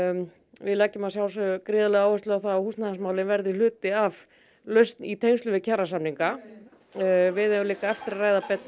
við leggjum að sjálfsögðu áherslu á það að húsnæðismálin verði hluti af lausn í tengslum við kjarasamninga við eigum líka eftir að ræða betur